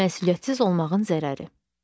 Məsuliyyətsiz olmağın zərəri.